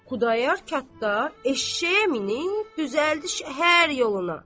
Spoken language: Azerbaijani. Xudayar qatdar eşşəyə minib düzəldi şəhər yoluna.